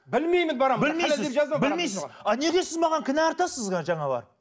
білмеймін білмейсіз білмейсіз а неге сіз маған кінә артасыз жаңағы